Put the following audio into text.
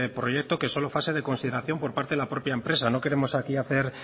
proyecto que es solo fase de consideración por parte de la propia empresa no queremos aquí hacer